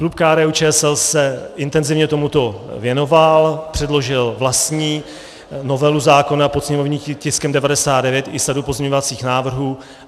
Klub KDU-ČSL se intenzivně tomuto věnoval, předložil vlastní novelu zákona pod sněmovním tiskem 99 i sadu pozměňovacích návrhů.